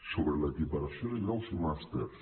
sobre l’equiparació de graus i màsters